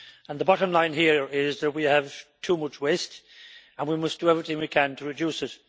The bottom line here is that we have too much waste and we must do everything we can to reduce it.